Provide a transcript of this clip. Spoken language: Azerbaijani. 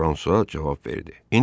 Fransua cavab verdi.